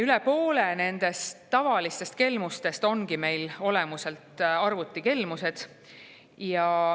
Üle poole nendest tavalistest kelmustest ongi meil arvutikelmused.